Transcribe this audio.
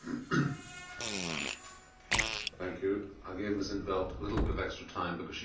I gave Ms in't Veld a little bit of extra time because she has 400 followers on Twitter. I have only got nine.